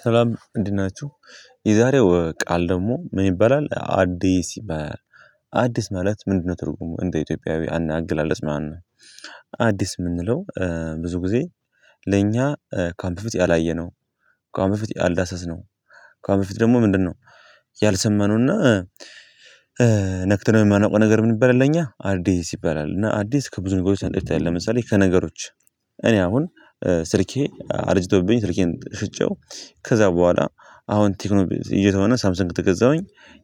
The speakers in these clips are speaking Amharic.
ሰላም እንዴት ናችሁ። የዛሬው ቃል ደግሞ ምን ይባላል አዲስ ይባላል። አዲስ ማለት ምንድነው ትርጉሙ? እንደ ኢትዮጵያዊ አንድ አገላለጽ አዲስ የምንለው። ብዙ ጊዜ ለእኛ ከአሁን በፊት ያላየነው ከአሁን በፊት ያላዳሰስነው ከኣሁን በፊት ደግሞ ምንድነው? ያልሰማነውና ነክቶነው የማናውቀው ነገር ምን ይባላል ለኛ አዲስ ይባላል። እና አዲስ ከብዙ ነገሮች አንፃር ይታያል። ለምሳሌ ከነገሮች እኔ አሁን ስልኬ አርጅቶብኝ ስልኬን ሽጨው። ከዛ በኋላ አሁን ቴክኖ ይዘውና ሳምሰንግ ከገዛሁኝ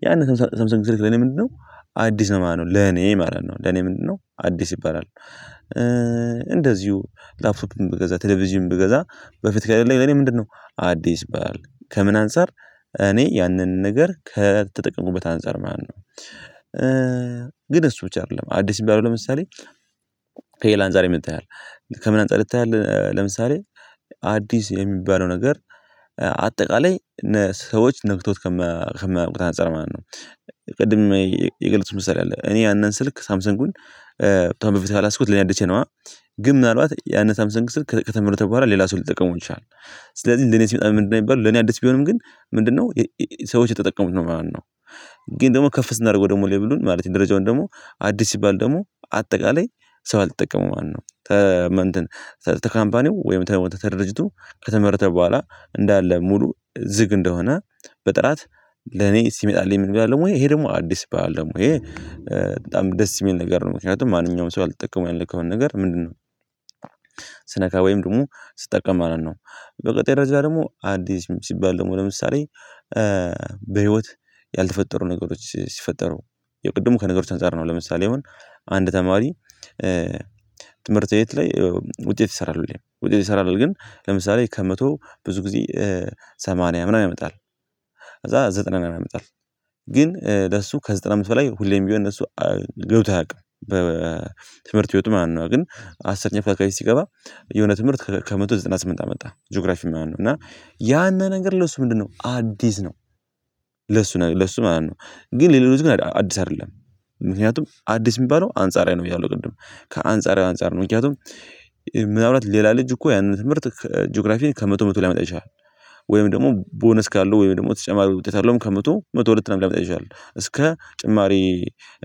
ያንን ሳምሰንግ ስልክ ለኔ ምንድነው አዲስ ነው ማለት ነው። ለኔ ማለት ነው ለኔ ምንድነው አዲስ ይባላል። እንደዚሁ ላፍቶፕ ብገዛ ቴሌቪዥን ብገዛ በፊት ከሌለኝ ለኔ ምንድነው አዲስ ባል ከምን አንፃር እኔ ያንን ነገር ከተጠቀሙበት አንፃር ማነው? ግን እሱ ብቻ አይደለም አዲስ የሚባለው ለምሳሌ ከሌላ አንፃርም ይታያል። ከምን አንፃር ይታያል ለምሳሌ አዲስ የሚባለው ነገር አጠቃላይ ሰዎች ነክቶት ከማያውቁት አንፃር ማለት ነው። ቅድም የገለፅኩት ምሳሌ አለ እኔ ያንን ስልክ ሳምሰንጉን ካሁን በፈት ያላያዝኩት ለኔድቼነዋ ግን ምናልባት ያንን ሳምሰንግ ስልክ ከተመረተ በኋላ ሌላ ሰው ሊጠቀመው ይችላል። ስለዚህ ለኔ ምንድነው የሚባለው ለኔ አዲስ ቢሆንም ግን ምንድነው? ሰዎች የተጠቀሙት ነው ማለት ነው። ግን ደግሞ ከፍ ስናደርገው ደግሞ ሌብሉን ማለት ደረጃውን ደግሞ አዲስ ሲባል ደግሞ አጠቃላይ ሰው ያልተጠቀመው ማለት ነው። ከካምፓኒው ወይም ከድርጅቱ ከተመረተ በኋላ እንዳለ ሙሉ ዝግ እንደሆነ በጥራት ለኔ ሲመጣልኝ ምንድነው ያለው ወይ ይሄ ደሞ አዲስ ይባላል ደግሞ ይሄ በጣም ደስ የሚል ነገር ነው። ምክንያቱም ማንኛውም ሰው ያልተጠቀሙ ያለከውን ነገር ምንድነው? ወይም ደሞ ስትጠቀም ማለት ነው። በቀጣይ በዛ ደሞ አዲስ ሲባል ደግሞ ለምሳሌ በህይወት ያልተፈጠሩ ነገሮች ሲፈጠሩ የቅድሙ ከነገሮች አንፃር ነው። ለምሳሌ ይሁን አንድ ተማሪ ትምህርት ቤት ላይ ውጤት ይሰራሉ ውጤት ይሰራል ግን ለምሳሌ ከመቶ ብዙ ጊዜ ሰማንያ ምናምን ያመጣል። ከዛ ዘጠና ምናምን ያመጣል። ግን ለሱ ከዘጠና አመት በላይ ሁሌም ቢሆን ለሱ ገብቶ አያውቅም በትምህርት ህይወቱ ማለት ነው። ግን አስርኛ ክፍል ፕራይበት ሲገባ የሆነ ትምህርት ከመቶ ዘጠና ስምንት አመጣ ጂኦግራፊ ምናምን ነው። እና ያን ነገር ለሱ ምንድነው አዲስ ነው። ለሱ ለሱ ማለት ነው። ግን ሌሎች ግን አዲስ አይደለም ምክንያቱም አዲስ የሚባለው አንጻራዊ ነው። ብያለሁ ቅድም ከአንጻራዊ አንፃር ነው ምክንያቱም ምናልባት ሌላ ልጅ እኮ ያንን ትምህርት ጂኦግራፊን ከመቶ መቶ ሊያመጣ ይችላል። ወይም ደግሞ ቦነስ ካለው ወይም ደግሞ ተጨማሪ ውጤት አለውም ከመቶ መቶ ሁለት ለምን ላምጣ ይችላል እስከ ጭማሪ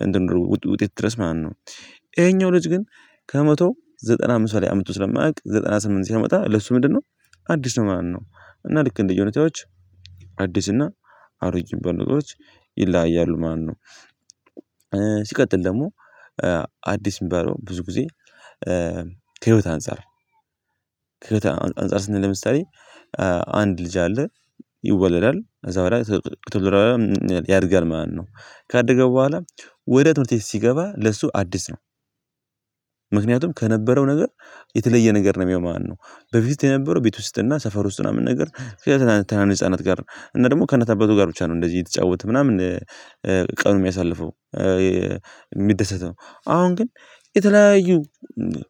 እንትን ውጤት ድረስ ማለት ነው። ይሄኛው ልጅ ግን ከመቶ ዘጠና አምስት ላይ አምጥቶ ስለማያውቅ ዘጠና ስምንት ሲያመጣ ለሱ ምንድነው? አዲስ ነው ማለት ነው። እና ልክ እንደየሁታዎች አዲስ እና አሮጌ የሚባሉ ነገሮች ይለያያሉ ማለት ነው። ሲቀጥል ደሞ አዲስ የሚባለው ብዙ ጊዜ ከህይወት አንፃር ከህይወት አንፃር ስንል ለምሳሌ አንድ ልጅ አለ ይወለዳል ከዛ በኋላ ከዛ በኋላ ያድጋል ማለት ነው ካደገ በኋላ ወደ ትምህርት ቤት ሲገባ ለሱ አዲስ ነው። ከነበረው ነገር የተለየ ነገር ነው የሚያየውም ማለት ነው። በፊት የነበረው ቤት ውስጥና ሰፈር ውስጥ ምናምን ነገር ምክንያቱም ከትናንሽ ህፃናት ጋር እና ደግሞ ከእናት ኣባቱ ጋር ብቻ ነው እንደዚህ የተጫወተ ምናምን ቀኑን የሚያሳልፈው የሚደሰተው አሁን ግን የተለያዩ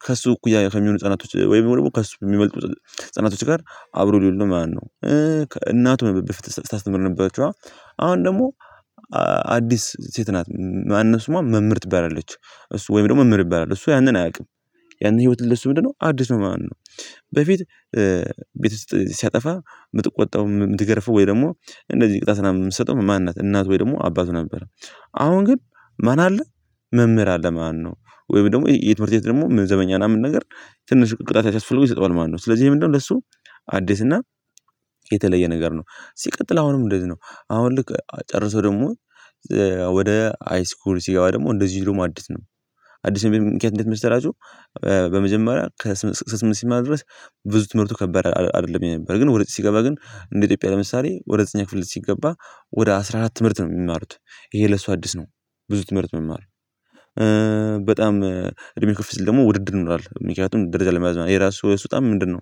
ከሱ እኩያ ከሚሆኑ ህጸናቶች ወይም ደሞ ከእሱ ከሚበልጡ ህጸናቶች ጋር አብሮ ሊውል ነው ማለት ነው። እናቱን ነበር በፊት ስታስተምር የነበረችዋ አሁን ደሞ አዲስ ሴት ናት ማን ነው ስሟ መምህርት ትበላለች እሱ ወይም ደሞ መምህር ይበላል እሱ ያንን አያቅም። ያንን ህይወትን ለሱ ምንድነው አዲስ ነው ማን ነው? በፊት ቤት ውስጥ ሲያጠፋ ምትጥቆጣው የምትገርፈው ወይ ደሞ እንደዚህ ቅጣት ላይ የምትሰጠው ማን ናት እናት ወይ ደሞ አባቱ ነበረ። አሁን ግን ማን አለ መምህር አለ ማለት ነው። ወይም ደሞ የትምህርት ደሞ ዘበኛ ምናምን ነገር ትንሽ ቅጣት ሲያስፈልጉ ይሰጠዋል ማለት ነው። ስለዚህ ምንድነው ለሱ አዲስ እና የተለየ ነገር ነው። ሲቀጥል አሁንም እንደዚህ ነው አሁን ልክ ጨርሶ ደሞ ወደ ሃይስኩል ሲገባ ደሞ እንደዚህ ደሞ አዲስ ነው። አዲስ የሚሆኑበት ምክንያት እንዴት መሰላቹ? በመጀመሪያ ከስምንት ሲማር ድረስ ብዙ ትምህርቱ ከባድ አይደለም የነበረ ግን ወደ ዘጠኝ ሲገባ ግን እንደ ኢትዮጵያ ለምሳሌ ወደ እኛ ክፍል ልጅ ሲገባ ወደ አስራ አራት ትምህርት ነው የሚማሩት ይሄ ለሱ አዲስ ነው። ብዙ ትምህርት መማር በጣም እድሜ ከፍ ስል ደሞ ውድድር ይኖሯል ምክንያቱም ደረጃ ለመያዝ የራሱ ለሱ በጣም ምንድነው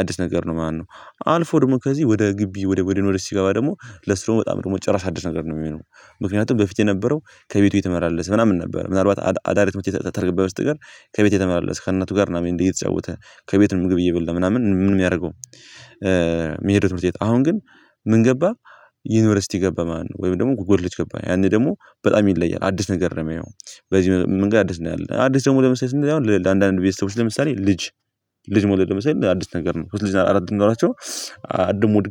አዲስ ነገር ነው ማለት ነው። አልፎ ደሞ ከዚህ ወደ ግቢ ወደ ወደ ወደ ዩንቨርስቲ ሲገባ ደግሞ ለሱ ደሞ በጣም ደግሞ ጭራሽ አዲስ ነገር ነው እሚሆነው። ምክንያቱም በፊት የነበረው ከቤቱ የተመላለስ ምናምን ነበረ ምናልባት አዳሪ ትምህርት ቤት ካልነበረ በስተቀር ከቤት የተመላለስ ከእናቱ ጋር ምናምን እየተጫወተ ከቤት ነው ምግብ እየበላ ምናምን ምን የሚያረገው። ሚሄደው ትምህርት ቤት ኣሁን ግን ምን ገባ ዩኒቨርሲቲ ገባ ማለት ነው። ወይም ደሞ ኮሌጅ ገባ ያኔ ደሞ በጣም ይለያል አዲስ ነገር ነው የሚያየው። በዚህ መንገድ አዲስ ነገር አለ። አዲስ ደግሞ ለምሳሌ አንዳንድ ቤተሰቦች ለምሳሌ ልጅ ልጅ መውለድ ለምሳሌ አዲስ ነገር ነው። ሶስት ልጅ አራት ኖራቸው አዲስ መውለድ